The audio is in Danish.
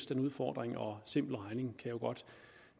den udfordring og simpel regning